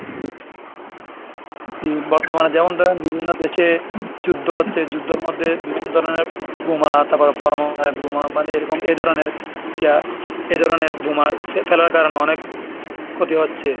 জি বর্তমানে যেমন ধরেন বিভিন্ন দেশে যুদ্ধ হচ্ছে, যুদ্ধের মধ্যে বিভিন্ন ধরনের বোমা তারপরে পরমাণু বোমা মানে এরকম এই ধরনের ইয়া এই ধরনের বোমা সে ফেলার কারণে অনেক ক্ষতি হচ্ছে।